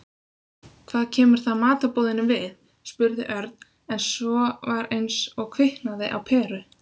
Hvað kemur það matarboðinu við? spurði Örn en svo var eins og kviknaði á peru.